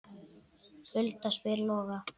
Hulda spyr Loga